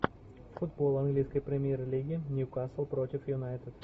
футбол английской премьер лиги ньюкасл против юнайтед